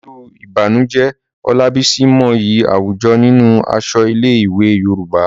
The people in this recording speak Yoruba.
Pẹ̀lú ìbànújẹ́, Olabisi mọyì àwùjọ nínú aṣọ ilé-ìwé Yorùbá.